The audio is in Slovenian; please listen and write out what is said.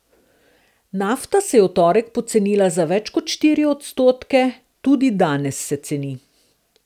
Nafta se je v torek pocenila za več kot štiri odstotke, tudi danes se ceni.